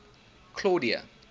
claudia